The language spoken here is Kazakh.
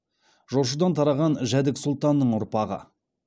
жошыдан тараған жәдік сұлтанның ұрпағы